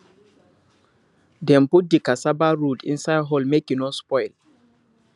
dem put di cassava root inside hole make e no spoil